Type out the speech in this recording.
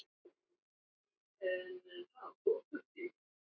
Hann trúði mér ekki